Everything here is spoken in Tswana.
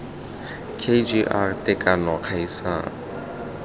k g r tekano kgaisano